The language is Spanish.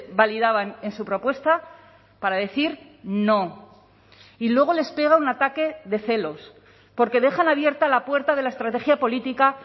validaban en su propuesta para decir no y luego les pega un ataque de celos porque dejan abierta la puerta de la estrategia política